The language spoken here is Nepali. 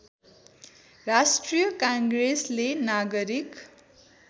राष्ट्रिय काङ्ग्रेसले नागरिक